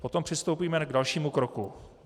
Potom přistoupíme k dalšímu kroku.